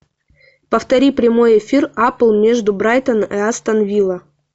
повтори прямой эфир апл между брайтон и астон вилла